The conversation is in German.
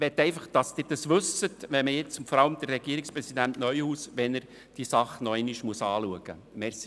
Ich will einfach, dass Sie das wissen und vor allem Regierungspräsident Neuhaus, der die Sache noch einmal anschauen muss.